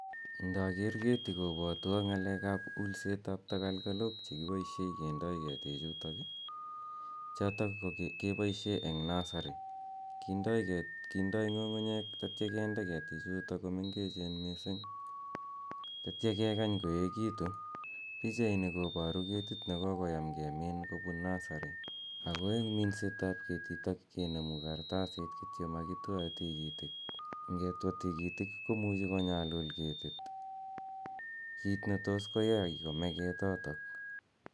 Ndager keti kobwotwa ng'alekab ulsetab tegelgelok chekiboishe kindoi kitikchokok. Chotok keboishe eng nursery kindoi ng'ung'unyek atio kende ketichutok komengechen mising kotio kekany koekitu. pichaini koboru ketit nekokoyan kemin kopun nursery. Ako eng minsetab ketitok kenemu kartasit kitio makitwaei tikitik. Ngetwa tigitik komuchi konyalul ketit, kit netos koyai kome ketotok.